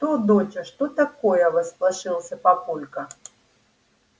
что доча что такое всполошился папулька